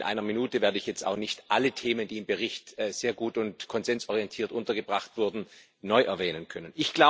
In einer Minute werde ich jetzt auch nicht alle Themen, die im Bericht sehr gut und konsensorientiert untergebracht wurden, neu erwähnen können.